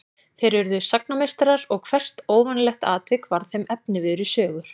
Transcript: Þeir urðu sagnameistarar og hvert óvanalegt atvik varð þeim efniviður í sögur.